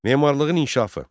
Memarlığın inkişafı.